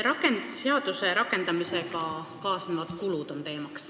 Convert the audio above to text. Üks teema on seaduse rakendamisega kaasnevad kulud.